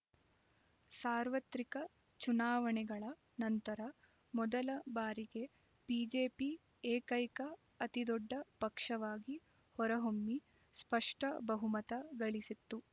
ಸಾರ್ವತ್ರಿಕ ಚುನಾವಣೆಗಳ ನಂತರ ಮೊದಲ ಬಾರಿಗೆ ಬಿಜೆಪಿ ಏಕೈಕ ಅತಿದೊಡ್ಡ ಪಕ್ಷವಾಗಿ ಹೊರಹೊಮ್ಮಿ ಸ್ಪಷ್ಟ ಬಹುಮತ ಗಳಿಸಿತ್ತು